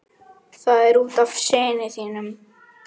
Það er út af syni þínum.